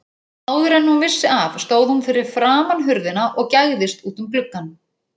Áður en hún vissi af stóð hún fyrir framan hurðina og gægðist út um gluggann.